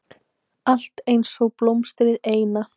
Allt einsog blómstrið eina.